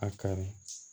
A kari